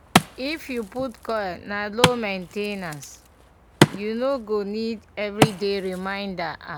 if you put coil na low main ten ance --u no go need everyday reminder ah